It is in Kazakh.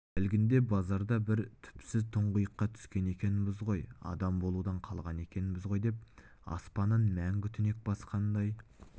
әлгінде базарда бір түпсіз тұңғиыққа түскен екенбіз ғой адам болудан қалған екенбіз ғой деп аспанын мәңгі түнек басқандай